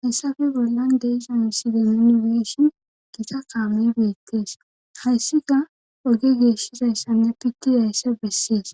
Hayssafe bollan deisa miside minibeshin gita kaamey beettees hayssika oge geeshshizayssanne pitti yayssa bessees